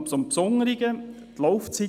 Ich komme auf das Besondere zu sprechen: